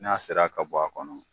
N'a sera ka bɔ a kɔnɔ.